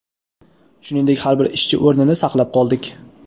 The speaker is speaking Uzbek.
shuningdek har bir ishchi o‘rnini saqlab qoldik.